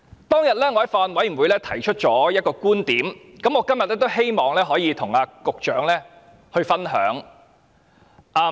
當天我在法案委員會提出了一個觀點，今天我也希望能與局長分享。